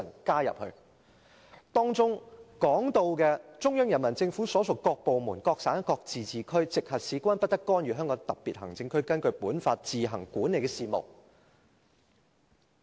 該條文訂明："中央人民政府所屬各部門、各省、自治區、直轄市均不得干預香港特別行政區根據本法自行管理的事務。